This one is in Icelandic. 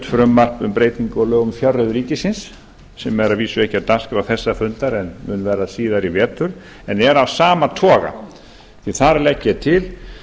hef flutt frumvarp um fjárreiður ríkisins sem er að vísu ekki á dagskrá þessa fundar en mun verða síðar í vetur en er af sama toga þar legg ég til